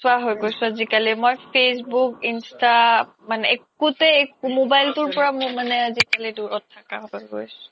নোচোৱা হৈ গৈছো আজিকালি মই facebook ইনষ্টা একো তে mobile তো পৰা আজিকালি দোৰত থকা হৈ গৈছো